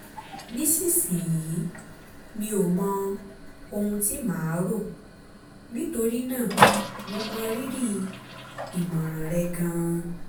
nísinsìnyí mi ò mọ ohun tí màá rò nítorí náà mo mọ rírì ìmọ̀ràn rẹ gan-an